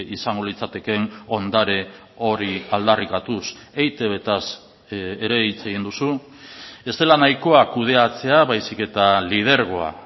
izango litzatekeen ondare hori aldarrikatuz eitb taz ere hitz egin duzu ez dela nahikoa kudeatzea baizik eta lidergoa